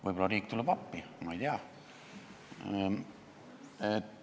Võib-olla tuleb riik appi, ma ei tea.